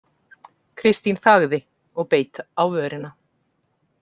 Kristín þagði og beit á vörina.